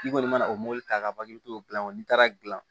N'i kɔni mana o mobili ta ka ban i bɛ to n'i taara dilan